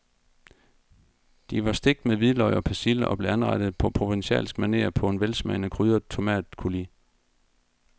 De var stegt med hvidløg og persille og blev anrettet på provencalsk maner på en velsmagende krydret tomatcoulis.